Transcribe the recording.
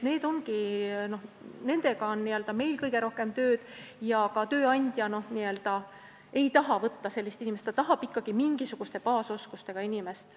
Nendega on meil kõige rohkem tööd ja ka tööandja ei taha võtta tööle sellist inimest, ta tahab ikkagi mingisuguste baasoskustega inimest.